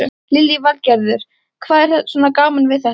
Lillý Valgerður: Hvað er svona gaman við þetta?